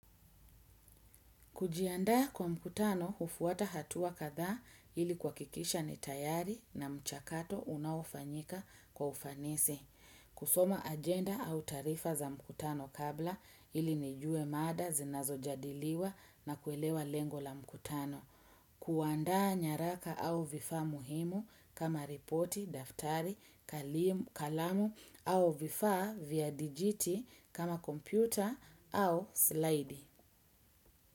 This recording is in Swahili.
Kujiandaa kwa mkutano hufuata hatua kadhaa ili kuhakikisha ni tayari na mchakato unaofanyika kwa ufanisi. Kusoma agenda au taarifa za mkutano kabla ili nijue mada zinazojadiliwa na kuelewa lengo la mkutano. Kuandaa nyaraka au vifaa muhimu kama ripoti, daftari, kalamu au vifaa vya digiti kama kompyuta au slaidi.